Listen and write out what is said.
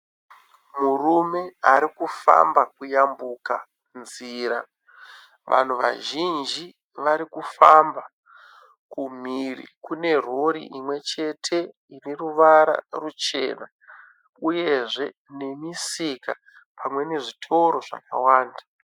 Murume ari kufamba kuyambuka nzira. Vanhu vazhinji vari kufamba, kumhiri kune rori imwe chete ine ruvara ruchena, uyezve nemisika pamwe nezvitoro zvakawanda.